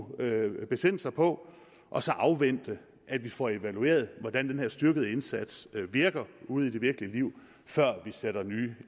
besinde sig på og så afvente at vi får evalueret hvordan den her styrkede indsats virker ude i det virkelige liv før vi sætter nye